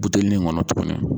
Butelinin kɔnɔ tuguni.